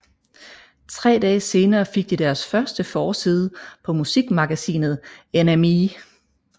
Tre dage senere fik de deres første forside på musikmagasinet NME